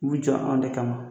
U jɔ an de kama